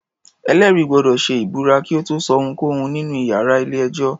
Ẹ̀lẹ́rìí gbọ́dọ̀ ṣe ìbúra kí ó tó sọ ohunkóhun nínú iyàrá ilé-ẹjọ́.